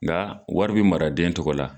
Nka wari bɛ mara den tɔgɔ la.